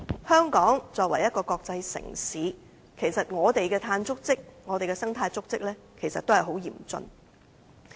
香港作為一個國際城市，我們的碳足跡和生態足跡也很嚴峻。